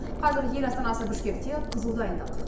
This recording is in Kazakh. қазір ел астанасы бішкекте қызу дайындық